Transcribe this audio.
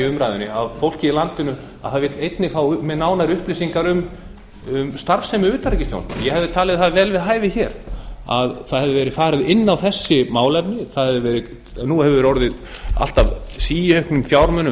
umræðunni að fólkið í landinu vill einnig fá nánari upplýsingar um starfsemi utanríkisþjónustunnar ég hefði talið það vel við hæfi að það hefði verið farið inn á þessi málefni nú hefur síauknum fjármunum